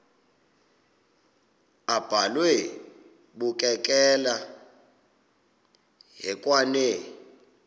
abhalwe bukekela hekwane